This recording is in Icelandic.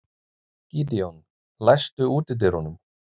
Gídeon, læstu útidyrunum.